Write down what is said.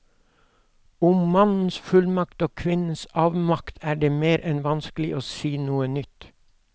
Om mannens fullmakt og kvinnens avmakt er det mer enn vanskelig å si noe nytt.